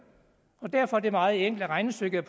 derfor er det et meget enkelt regnestykke